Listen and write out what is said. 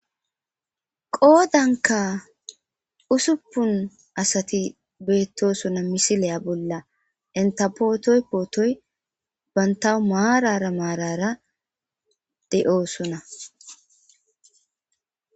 qoodanka usuppun asati beettosuna misiliya bolla entapootoy pootoy bantawu maarara maarara de7oosunna